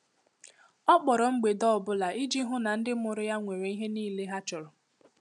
Ọ kpọrọ mgbede ọ bụla iji hụ na ndị mụrụ ya nwere ihe niile ha chọrọ.